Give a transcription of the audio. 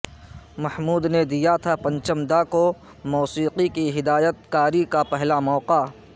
محمود نے دیا تھا پنچم دا کوموسیقی کی ہدایت کاری کا پہلا موقع